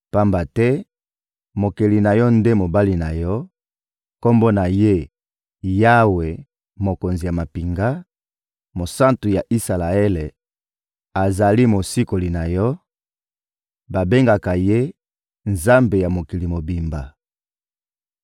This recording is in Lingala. pamba te Mokeli na yo nde mobali na yo, Kombo na Ye: Yawe, Mokonzi ya mampinga; Mosantu ya Isalaele azali Mosikoli na yo; babengaka Ye: Nzambe ya mokili mobimba.